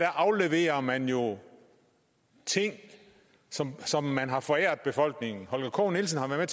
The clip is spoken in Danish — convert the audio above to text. afleverer man jo ting som som man har foræret befolkningen holger k nielsen har været